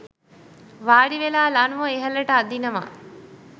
වාඩිවෙලා ලණුව ඉහළට අදිනවා.